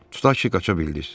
Tutaq ki, qaça bildiz.